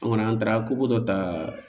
An kɔni an taara dɔ ta